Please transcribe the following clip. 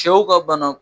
Cɛw ka bana